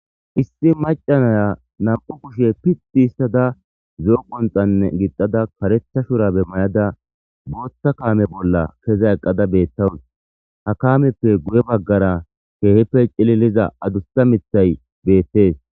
Issi maca Naya nam'u kushe pidi histada zo'o qonxane gixada karetha shurabe mayada Botha kame bolla keza eqada betawus ha kameppe guye bagara kehippe cililiza adusa mithay betes.